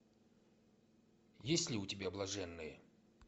есть ли у тебя блаженные